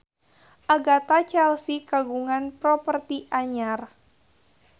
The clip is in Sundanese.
Agatha Chelsea kagungan properti anyar